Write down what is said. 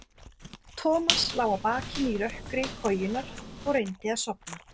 Thomas lá á bakinu í rökkri kojunnar og reyndi að sofna.